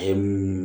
Ɛɛ